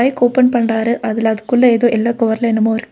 Bike open பண்றாரு அதுல அதுக்குள்ள ஏதோ எல்லோ கவர்ல என்னமோ இருக்கு.